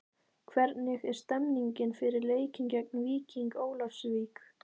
Hvernig er stemmingin fyrir leikinn geng Víking Ólafsvík?